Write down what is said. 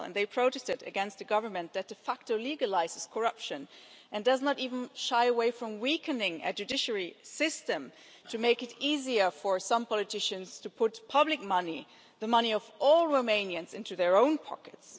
They protested against a government that de facto legalises corruption and does not even shy away from weakening a judiciary system to make it easier for some politicians to put public money the money of all Romanians into their own pockets.